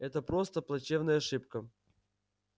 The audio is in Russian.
это просто плачевная ошибка